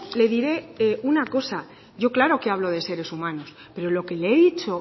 le diré una cosa yo claro que hablo de seres humanos pero lo que le he dicho